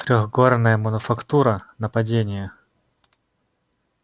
трёхгорная мануфактура нападение